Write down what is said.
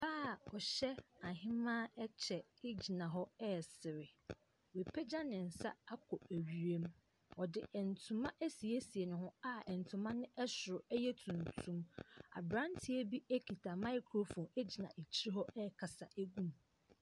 Ɔbaa a ɔhyɛ ahemaa kyɛ gyina hɔ ɛresere, wapagya ne nsa akɔ wiem, ɔde ntoma asiesie ne ho a ntoma ne soro yɛ tuntum. Aberanteɛ kita microphone gyina akyire hɔ ɛrekasa gu mu.